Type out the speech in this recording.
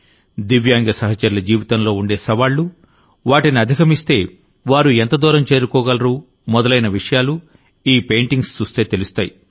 దివ్యాంగ సహచరుల జీవితంలో ఉండే సవాళ్లు వాటిని అధిగమిస్తే వారు ఎంత దూరం చేరుకోగలరు మొదలైన విషయాలు ఈ పెయింటింగ్స్ చూస్తే తెలుస్తాయి